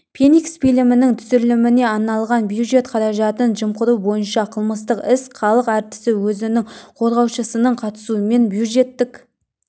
феникс фильмінің түсіріліміне арналған бюджет қаражатын жымқыру бойынша қылмыстық іс халық әртісі өзінің қорғаушысының қатысуымен бюджеттік